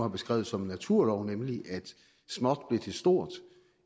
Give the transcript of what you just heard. har beskrevet som en naturlov nemlig at småt blev til stort